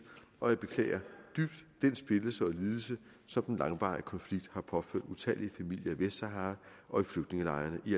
og jeg beklager dybt den splittelse og lidelse som den langvarige konflikt har påført utallige familier i vestsahara og i flygtningelejrene i